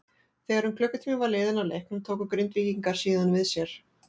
Þegar um klukkutími var liðinn af leiknum tóku Grindvíkingar síðan við sér.